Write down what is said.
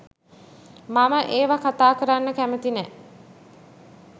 මම ඒවා කතා කරන්න කැමති නැ.